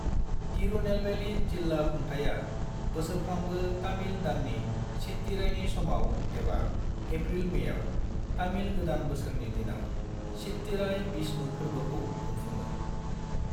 तिरुनेलवेली जिल्ला खुंथाया बोसोरफ्रामबो तामिल दाननि चित्तिराईनि समाव, एबा एप्रिल-मेयाव, तामिल गोदान बोसोरनि दिनाव चित्तिराई विष्णु फोर्बोखौ खुंफुङो।